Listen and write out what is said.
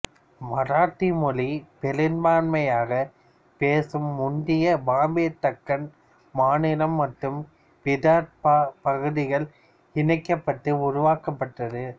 மராத்தி மொழி பெரும்பான்மையாகப் பேசும் முந்தைய பாம்பே தக்கண் மாநிலம் மற்றும் விதர்பா பகுதிகள் இணைக்கப்பட்டு உருவாக்கப்பட்டது